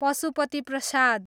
Pashupati Prasad